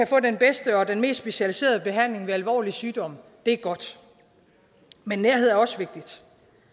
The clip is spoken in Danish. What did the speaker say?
få den bedste og mest specialiserede behandling ved alvorlig sygdom er godt men nærhed er også vigtigt